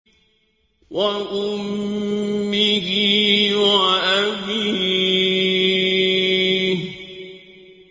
وَأُمِّهِ وَأَبِيهِ